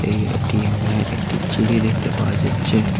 এই এ_টি_এম -এ একটি চিড়ি দেখতে পাওয়া যাচ্ছে।